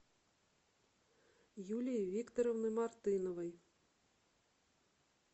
юлии викторовны мартыновой